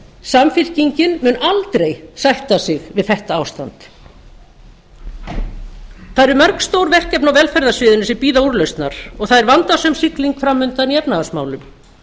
samfylkingin mun aldrei sætta sig við þetta ástand það eru mörg stór verkefni á velferðarsviðinu sem bíða úrlausnar og það er vandasöm sigling fram undan í efnahagsmálum